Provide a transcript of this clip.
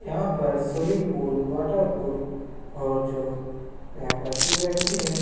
यहाँ पर swimming pool water pool और जो यहाँ पर व्यक्ति हैं।